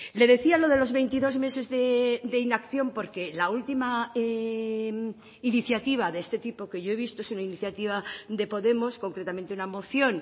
le decía lo de los veintidós meses de inacción porque la última iniciativa de este tipo que yo he visto es una iniciativa de podemos concretamente una moción